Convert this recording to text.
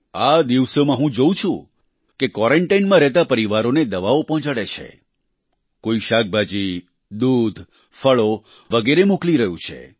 આ દિવસોમાં હું જોઉં છું કે કોઈ ક્વારન્ટાઇન માં રહેતા પરિવારોને દવાઓ પહોંચાડે છે કોઈ શાકભાજી દૂધ ફળો વગેરે મોકલી રહ્યું છે